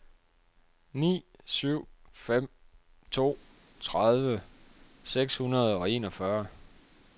ni syv fem to tredive seks hundrede og enogfyrre